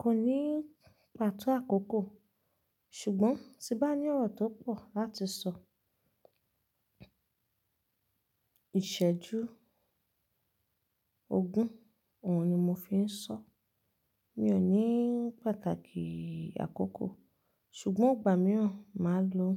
Kò ní pàtó àkókò ṣùgbọ́n ti bá ní ọ̀rọ̀ tó pọ̀ láti sọ, ìsẹ́jú ogún, òun ni mo fi ń sọ. Mi ò ní pàtàkì àkókò ṣùgbọ́n ìgbà mìíràn, màá lo